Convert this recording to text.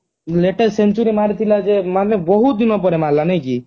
latest century ମରିଥିଲା ଯେ ମାନେ ବହୁତ ଦିନ ପରେ ମାରିଲା ନାଇକି